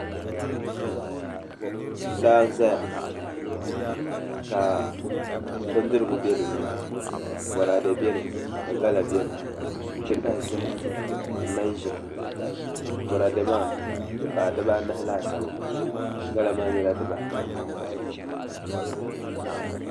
Laa n ʒɛya ka bindirigu bɛ dinni boraadɛ bɛni ka gala bɛni n ti pahi zaham ni manʒa boraadɛ maa di paai dibaanahi laasabu gala maa nyɛla dibaata